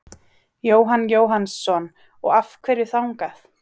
Jóhann Jóhannsson: Og af hverju þangað?